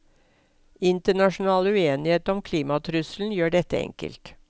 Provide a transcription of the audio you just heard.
Internasjonal uenighet om klimatrusselen gjør dette enkelt.